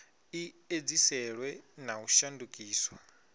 i edziselwe na u shandukiswa